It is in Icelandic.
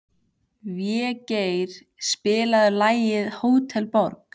Végeir, spilaðu lagið „Hótel Borg“.